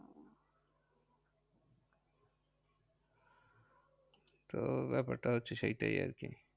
তো ব্যাপার টা হচ্ছে সেইটাই আরকি।